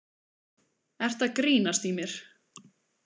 Ertu að grínast í mér?